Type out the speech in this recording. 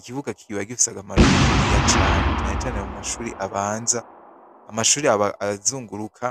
Ikibuga kiba gifise akamaro kaniniya cane, cane cane mu mashuri abanza amashuri aba azunguruka